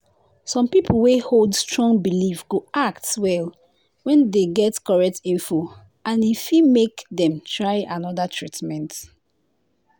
some people wey hold strong belief go act well when dem get correct info and e fit make dem try another treatment.